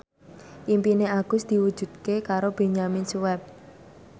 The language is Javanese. impine Agus diwujudke karo Benyamin Sueb